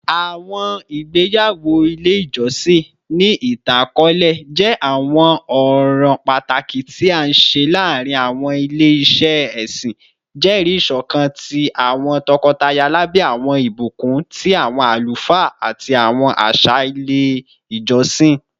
Awọn igbeyawo ile ijọsin, ni itan-akọọlẹ, jẹ awọn ọran pataki ti a nṣe laarin awọn ile-iṣẹ ẹsin, jẹri iṣọkan ti awọn tọkọtaya labẹ awọn ibukun ti awọn alufaa ati awọn aṣa ile ijọsin.